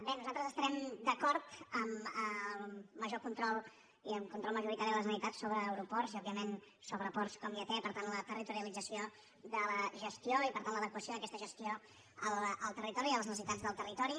bé nosaltres estarem d’acord amb el major control i amb un control majoritari de la generalitat sobre aeroports i òbviament sobre ports com ja té per tant la territorialització de la gestió i per tant l’adequació d’aquesta gestió en el territori i a les necessitats del territori